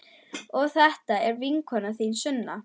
Og þetta er vinkona þín, Sunna!